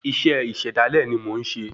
Isé ìṣẹ̀dálé ni mó n ṣé